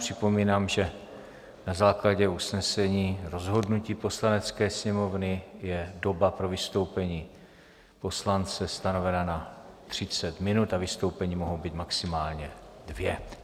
Připomínám, že na základě usnesení rozhodnutí Poslanecké sněmovny je doba pro vystoupení poslance stanovena na 30 minut a vystoupení mohou být maximálně dvě.